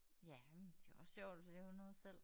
Ja men det jo også sjovt at lave noget selv